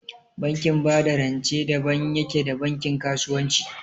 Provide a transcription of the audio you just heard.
Bankin ba da rance daban yake da bankin kasuwanci